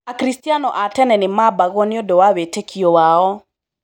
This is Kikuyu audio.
Akristiano a tene nĩmabagwo nĩũndũ wa wĩtĩkio wao.